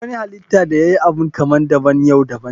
Duk wani halitta da yayi Abu kaman daban you daban ne.